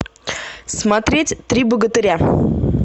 смотреть три богатыря